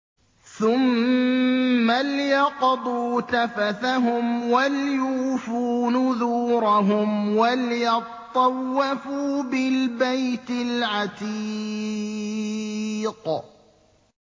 ثُمَّ لْيَقْضُوا تَفَثَهُمْ وَلْيُوفُوا نُذُورَهُمْ وَلْيَطَّوَّفُوا بِالْبَيْتِ الْعَتِيقِ